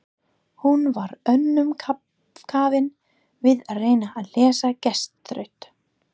Hún var önnum kafin við að reyna að leysa gestaþraut.